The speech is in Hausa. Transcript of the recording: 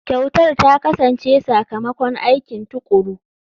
Kyautar ta kasance sakamakon aiki tuƙuru.